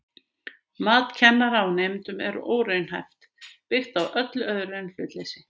Mat kennara á nemendum er óraunhæft, byggt á öllu öðru en hlutleysi.